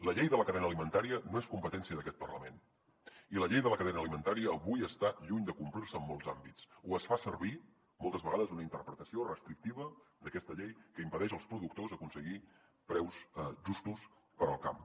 la llei de la cadena alimentària no és competència d’aquest parlament i la llei de la cadena alimentària avui està lluny de complir se en molts àmbits o es fa servir moltes vegades una interpretació restrictiva d’aquesta llei que impedeix als productors aconseguir preus justos per al camp